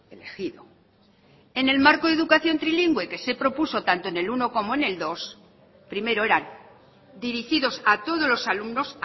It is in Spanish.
elegido en el marco educación trilingüe que se propuso tanto como en el uno como en el dos primero eran dirigidos a todos los alumnos